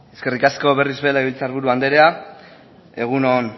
eskerrik asko berriz ere legebiltzar buru andrea egun on